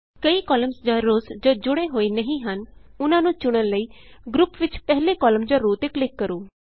ਕਈ ਕਾਲਮਸ ਜਾਂ ਰੋਅਸ ਜੋ ਕਿ ਜੁੜੇ ਹੋਏ ਨਹੀਂ ਹਨ ਉਹਨਾਂ ਨੂੰ ਚੁਣਨ ਲਈ ਗਰੁਪ ਵਿਚ ਪਹਿਲੇ ਕਾਲਮ ਜਾਂ ਰੋਅ ਤੇ ਕਲਿਕ ਕਰੋ